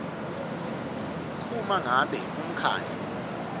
uma ngabe umkhandlu